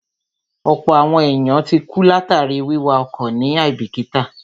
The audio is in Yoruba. Ọ̀pọ̀ àwọn èèyàn ti kú látàríi wíwa ọkọ̀ ní àíbìkítà